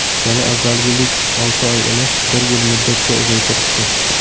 Yana avvalgidek olti oy emas, bir yil muddatga uzaytirishdi.